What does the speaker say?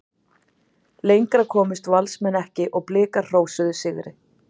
Lengra komust Valsmenn ekki og Blikar hrósuðu sigri.